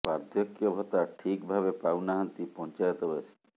ବାର୍ଦ୍ଧକ୍ୟ ଭତ୍ତା ଠିକ ଭାବେ ପାଉ ନାହାଁନ୍ତି ପଂଚାୟତ ବାସି